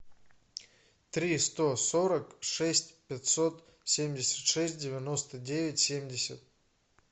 три сто сорок шесть пятьсот семьдесят шесть девяносто девять семьдесят